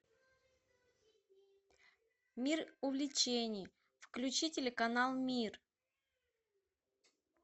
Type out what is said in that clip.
мир увлечений включи телеканал мир